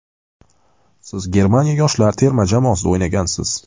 Siz Germaniya yoshlar terma jamoasida o‘ynagansiz.